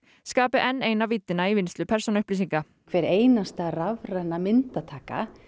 skapi enn eina víddina í vinnslu persónuupplýsinga hver einasta rafræna myndataka